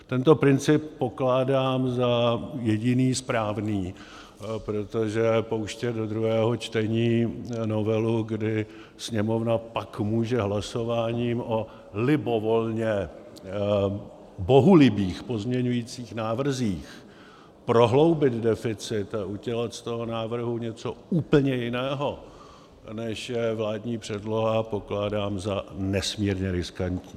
Tento princip pokládám za jediný správný, protože pouštět do druhého čtení novelu, kdy Sněmovna pak může hlasováním o libovolně bohulibých pozměňovacích návrzích prohloubit deficit a udělat z toho návrhu něco úplně jiného, než je vládní předloha, pokládám za nesmírně riskantní.